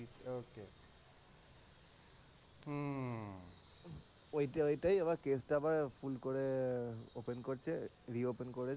ওইটা ওইটাই আবার case টা আবার ভুল করে open করছে re open করেছে,